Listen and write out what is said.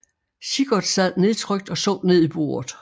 Sigurd sad nedtrykt og så ned i bordet